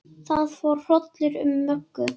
Það fór hrollur um Möggu.